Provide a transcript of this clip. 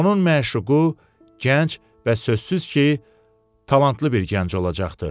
Onun məşuqu gənc və sözsüz ki, talantlı bir gənc olacaqdı.